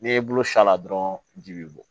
N'i y'i bolo s'a la dɔrɔn ji bɛ bɔ